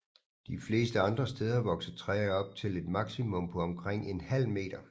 De fleste andre steder vokser træer op til et maksimum på omkring en halv meter